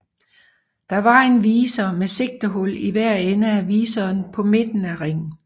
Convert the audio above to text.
Der var en viser med sigtehul i hver ende af viseren på midten af ringen